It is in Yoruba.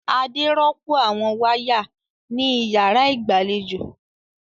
Adé rọ́pò àwọn wáyà ní ìyàrá ìgbàlejò.